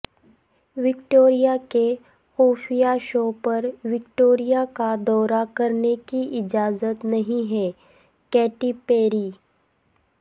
Victoria کے خفیہ show پر وکٹوریہ کا دورہ کرنے کی اجازت نہیں ہے کیٹی پیری